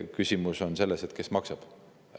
Küsimus on selles, kes maksab.